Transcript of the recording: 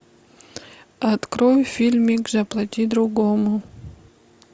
открой фильмик заплати другому